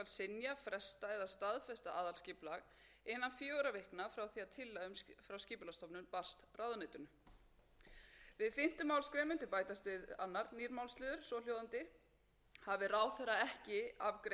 því að tillaga frá skipulagsstofnun barst ráðuneytinu við fimmtu málsgrein mundi bætast við annar nýr málsliður svohljóðandi hafi ráðherra ekki afgreitt aðalskipulagstillögu með synjun frestun eða staðfestingu aðalskipulags samkvæmt fjórðu málsgrein er sveitarstjórn heimilt að ákveða að aðalskipulagið skuli